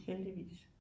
Heldigvis